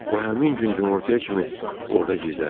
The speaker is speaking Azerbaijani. O həmin gün günortaya kimi orda gizləndi.